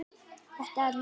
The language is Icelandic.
Þetta er ljóð.